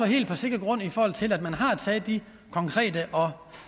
helt på sikker grund i forhold til at man har taget de konkrete og